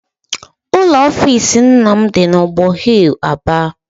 Ụlọ offisi nna m dị n'ọgbọ hill, Aba.